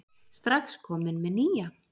Strax kominn með nýja